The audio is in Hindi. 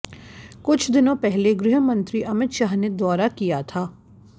कुछ दिनों पहले गृहमंत्री अमित शाह ने दौरा किया था